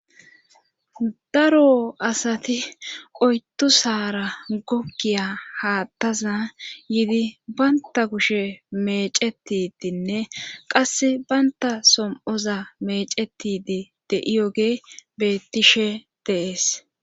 daro asati oydusaara goggiya haathaza yidi banta kushe meecettidinne qassi bantta som7oza meecettide de7iyoge beettishe de7es.